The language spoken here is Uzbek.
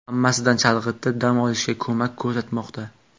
Hammasidan chalg‘itib, dam olishga ko‘mak ko‘rsatmoqda.